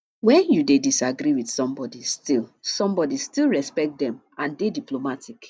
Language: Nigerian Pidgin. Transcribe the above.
when you dey disagree with somebody still somebody still respect them and dey diplomatic